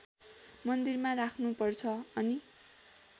मन्दिरमा राख्नुपर्छ अनि